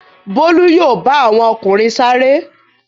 Bólú yóò bá àwọn ọkùnrin sáré.